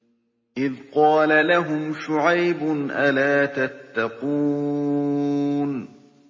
إِذْ قَالَ لَهُمْ شُعَيْبٌ أَلَا تَتَّقُونَ